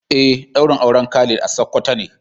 Eh daurin auren Khalid a sokoto ne.